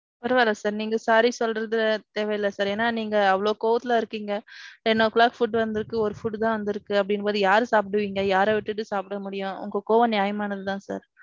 பரவாயில்ல sir நீங்க sorry சொல்றது தேவை இல்ல sir. ஏனா நீங்க அவ்வளவு கோவத்துல இருக்கீங்க. ten'o clock food வந்திருக்கு. ஓரு food தான் வந்திருக்கு அப்பிடீங்கிறப்போது யார் சாப்பிடுவீங்க? யாரை விட்டுட்டு சாப்பிட முடியும். உங்க கோவம் நியாயமானது தான் sir.